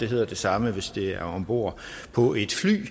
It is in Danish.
hedder det samme hvis det er ombord på et fly og